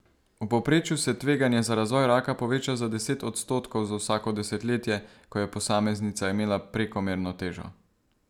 V povprečju se tveganje za razvoj raka poveča za deset odstotkov za vsako desetletje, ko je posameznica imela prekomerno težo.